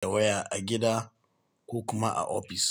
da waya a gida ko kuma a ofis.